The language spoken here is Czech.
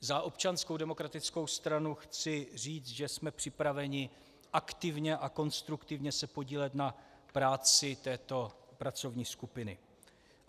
Za Občanskou demokratickou stranu chci říct, že jsme připraveni aktivně a konstruktivně se podílet na práci této pracovní skupiny.